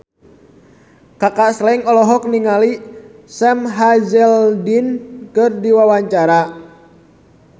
Kaka Slank olohok ningali Sam Hazeldine keur diwawancara